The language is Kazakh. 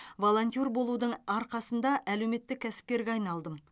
волонтер болудың арқасында әлеуметтік кәсіпкерге айналдым